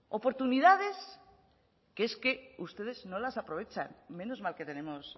oportunidades que es que ustedes no las aprovechan menos mal que tenemos